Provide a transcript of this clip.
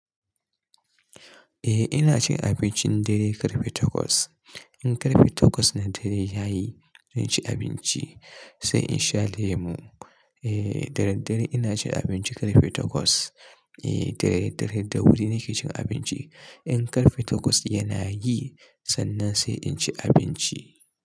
Eh ina cin abincin dare ƙarfe takwas. In ƙarfe takwas na dare yayi, zan ci abinci sai in sha lemo. Eh dadare ina cin abinci ƙarfe takwas. Eh dadare da wuri nake cin abinci. In ƙarfe takwas yana yi sannan sai in ci abinci.